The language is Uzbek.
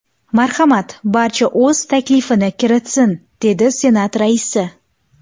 Marhamat, barcha o‘z taklifini kiritsin”, – dedi Senat raisi.